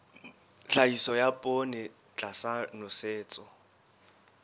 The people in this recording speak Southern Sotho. tlhahiso ya poone tlasa nosetso